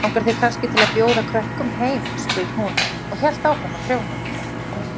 Langar þig kannski til að bjóða krökkum heim? spurði hún og hélt áfram að prjóna.